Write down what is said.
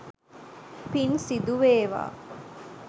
පින් සිදු වේවා!